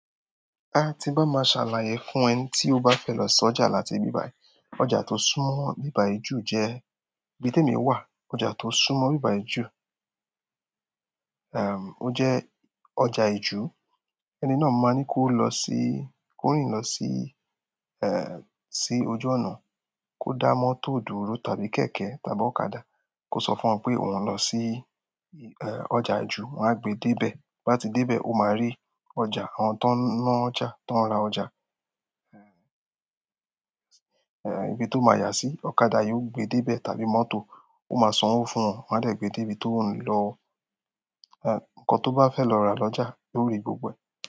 A ti n bá máa ṣàlàyé fún ẹni tí ó bá fẹ́ lọ sọ́jà láti ibì báyì. Ọjà tó súnmọ́ ibi bayi ju jẹ́ ibi tí èmi wà. Ọjà tó súnmọ́ ibi bayi ju, ẹm, o jẹ ọjà ìju, ẹni náà máa ní kó lọ sí, kó rìn lọ sí, ẹ, sí ojú ọnà kó dá mọ́tò dúró tàbí kẹ̀kẹ́ tàbí ọ̀kadà kó sọ fún wọn pé òun ń lọ sí, ẹ, ọjà ìju wọ́n á gbe dé ibẹ̀. Bí bá ti dé ibẹ̀, ó máa rí ọjà, àwọn tó ń ná ọjà, tó ń ra ọjà, ẹ, ibi tó máa yà sí. Ọ̀kadà yóò gbé dé ibẹ̀ tàbí mọ́tò ó máa sanwó fún wọn wọ́n á lè gbé dé ibi tó ń lọ, ẹ, nǹkan tó bá fẹ́ lọ rà lọ́jà lórí gbogbo.